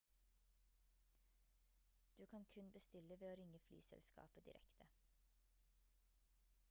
du kan kun bestille ved å ringe flyselskapet direkte